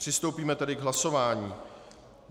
Přistoupíme tedy k hlasování.